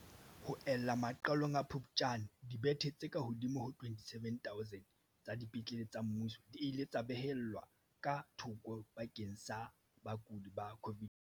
Ho ella maqalong a Phuptjane, dibethe tse kahodimo ho 27 000 tsa dipetlele tsa mmuso di ile tsa beellwa ka thoko bakeng sa bakudi ba COVID-19.